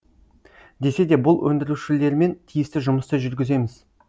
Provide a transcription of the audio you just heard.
десе де бұл өндірушілермен тиісті жұмысты жүргіземіз